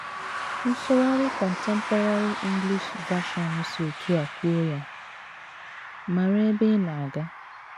Nsụgharị Contemporary English Version si otú a kwuo ya: “ Mara ebe ị na - aga. ”